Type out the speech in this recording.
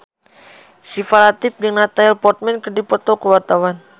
Syifa Latief jeung Natalie Portman keur dipoto ku wartawan